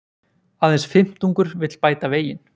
Aðeins fimmtungur vill bæta veginn